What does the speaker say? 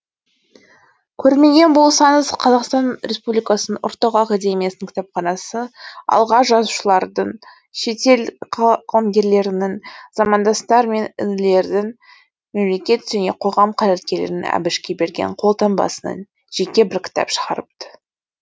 көрмеген болсаңыз қазақстан республикасының ұлттық академиялық кітапханасы аға жазушылардің шетел қаламгерлерінің замандастар мен інілердің мемлекет және қоғам қайраткерлерінің әбішке берген қолтаңбасынан жеке бір кітап шығарыпты